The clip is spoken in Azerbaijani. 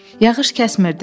Yağış kəsmirdi.